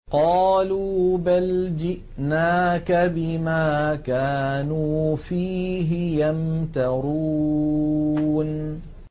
قَالُوا بَلْ جِئْنَاكَ بِمَا كَانُوا فِيهِ يَمْتَرُونَ